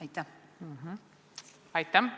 Aitäh!